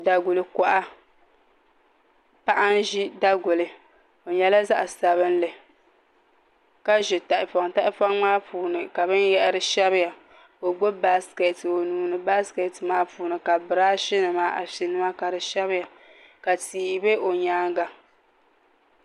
Daguli koha paɣa n ʒi daguli o nyɛla zaɣ sabinli ka ʒi tahapoŋ tahapoŋ maa puuni ka binyahari shɛbiya ka o gbubi baskɛt o nuuni baskɛt maa puuni ka birashi nima afi nima ka di shɛbiya ka tia bɛ o nyaanga